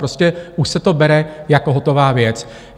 Prostě už se to bere jako hotová věc.